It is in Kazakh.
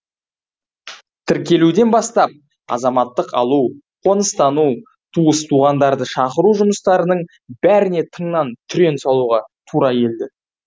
тіркелуден бастап азаматтық алу қоныстану туыс туғандарды шақыру жұмыстарының бәріне тыңнан түрен салуға тура келді